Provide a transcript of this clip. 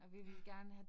Ja